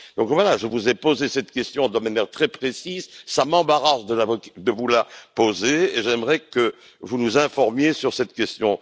Donc voilà, je vous ai posé cette question de manière très précise, cela m'embarrasse de vous la poser et j'aimerais que vous nous informiez sur cette question.